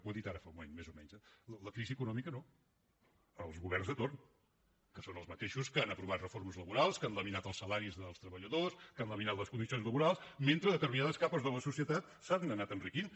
ho ha dit ara fa un moment més o menys eh la crisi econòmica no els governs de torn que són els mateixos que han aprovat reformes laborals que han laminat els salaris dels treballadors que han laminat les condicions laborals mentre determinades capes de la societat s’han anat enriquint